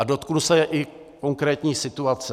A dotknu se i konkrétní situace.